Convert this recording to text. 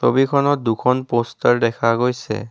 ছবিখনত দুখন পষ্টাৰ দেখা গৈছে।